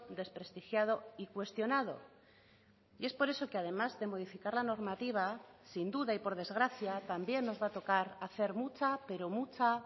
desprestigiado y cuestionado y es por eso que además de modificar la normativa sin duda y por desgracia también nos va a tocar hacer mucha pero mucha